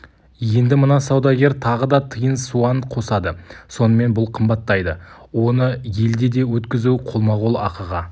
енді мына саудагер тағы да тиын-суан қосады сонымен бұл қымбаттайды оны елде де өткізу қолма-қол ақыға